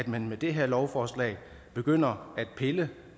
man med det her lovforslag begynder at pille